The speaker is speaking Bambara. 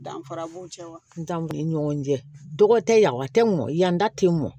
Danfara b'u cɛ wa ntan ni ɲɔgɔn cɛ dɔgɔ tɛ yafa tɛ mɔ yan da tɛ mɔn